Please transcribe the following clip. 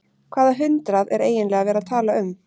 Hvaða hundrað er eiginlega verið að tala um?